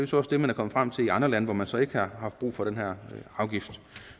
så også det man er kommet frem til i andre lande hvor man så ikke har haft brug for den her afgift